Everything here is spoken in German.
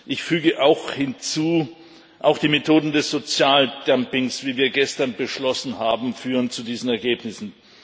Ich füge hinzu Auch die Methoden des Sozialdumpings, wie wir gestern beschlossen haben, führen zu diesen Ergebnissen.